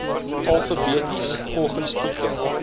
alfabeties volgens titel